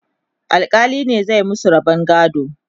alkali ne zai masu rabon gado